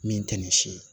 Min tɛ nin si ye